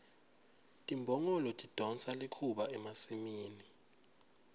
timbongolo tidonsa likhuba emasimini